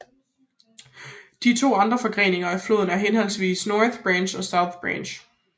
De to andre forgrenninger af floden er henholdsvis North Branch og South Branch